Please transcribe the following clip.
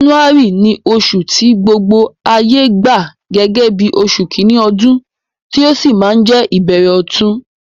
January ni osù ti gbogbo ayé gba gẹ́gẹ́ bí osù kíní odún, ti ó si ma je ìbẹ̀rẹ̀ ọ̀tun